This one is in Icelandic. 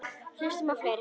Hlustum á fleiri!